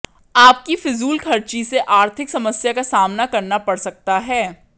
आपकी फिजूलखर्ची से आर्थिक समस्या का सामना करना पङ सकता है